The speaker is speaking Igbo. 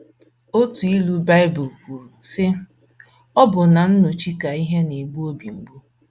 Otu ilu Bible kwuru, sị: “ Ọbụna n’ọchị ka ihe na - egbu obi mgbu. ”